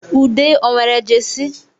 Ude ọ nwere Jesi?